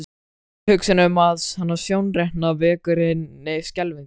Tilhugsunin um hana sjórekna vekur henni skelfingu.